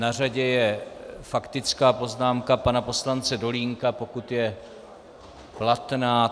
Na řadě je faktická poznámka pana poslance Dolínka, pokud je platná...